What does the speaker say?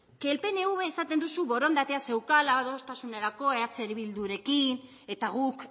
pnvk esaten duzu borondatea zeukala adostasunerako eh bildurekin eta guk